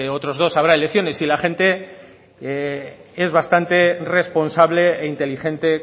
otros dos habrá elecciones y la gente es bastante responsable e inteligente